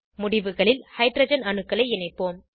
முடிவுகளில் ஹைட்ரஜன் அணுக்களை இணைப்போம்